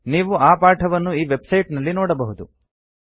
ನೀವು ಆ ಪಾಠವನ್ನು ಈ ವೆಬ್ಸೈಟ್ ನಲ್ಲಿ ನೋಡಬಹುದು